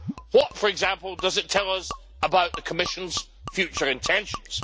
What, for example, does it tell us about the Commission's future intentions?